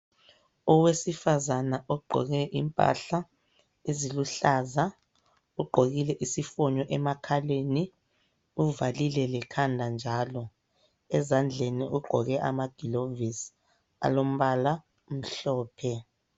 Owesifazane ogqoke impahla eziluhlaza. Ugqokile isifonyo emakhaleni, uvalile lekhanda njalo. Ezandleni ugqoke amagilovisi alombala omhlophe.